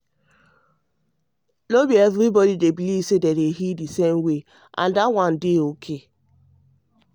like so no be everybody believe the same way to take heal and that one dey that one dey okay.